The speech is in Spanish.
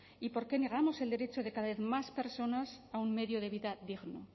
y por qué negamos el derecho de cada vez más personas a un medio de vida digno